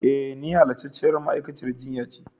E, ni halastarciyar ma'aikaciyar jinya ce.